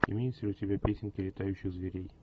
имеются ли у тебя песенки летающих зверей